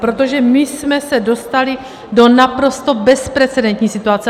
Protože my jsme se dostali do naprosto bezprecedentní situace.